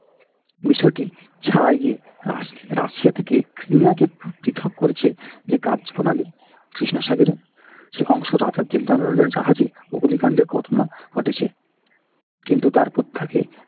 বিষয়টি গিয়ে russia থেকে crimea কে পৃথক করেছে যে কার্যপ্রণালী সেই অংশ জাহাজে অবলিকাণ্ডের ঘটনা ঘটেছে। কিন্তু তার পর তাকে